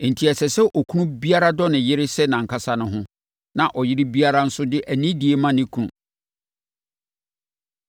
Enti, ɛsɛ sɛ okunu biara dɔ ne yere sɛ nʼankasa ne ho, na ɔyere biara nso de anidie ma ne kunu.